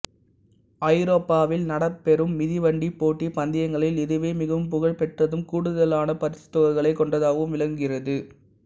ஐரோப்பாவில் நடத்தப்பெறும் மிதிவண்டி போட்டிப் பந்தயங்களில் இதுவே மிகவும் புகழ்பெற்றதும் கூடுதலான பரிசுத்தொகைகளைக் கொண்டதாகவும் விளங்குகிறது